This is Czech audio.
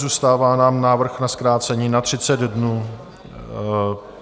Zůstává nám návrh na zkrácení na 30 dnů.